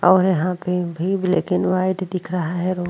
और यहां पे भी लेकिन व्हाइट दिख रहा है औ --